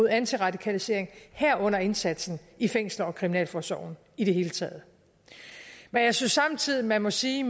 antiradikalisering herunder indsatsen i fængsler og kriminalforsorgen i det hele taget men jeg synes samtidig man må sige